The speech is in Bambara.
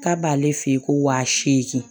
K'a b'ale fɛ yen ko wa seegin